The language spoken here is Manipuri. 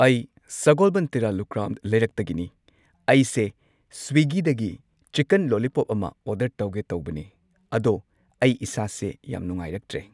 ꯑꯩ ꯁꯒꯣꯜꯕꯟ ꯇꯦꯔꯥ ꯂꯨꯀ꯭ꯔꯥꯝ ꯂꯩꯔꯛꯇꯒꯤꯅꯤ ꯑꯩꯁꯦ ꯁ꯭ꯋꯤꯒꯤ ꯗꯒꯤ ꯆꯤꯀꯟ ꯂꯣꯂꯤꯄꯣꯞ ꯑꯃ ꯑꯣꯔꯗꯔ ꯇꯧꯒꯦ ꯇꯧꯕꯅꯦ ꯑꯗꯣ ꯑꯩ ꯏꯁꯥꯁꯦ ꯌꯥꯝ ꯅꯨꯉꯥꯏꯔꯛꯇ꯭ꯔꯦ꯫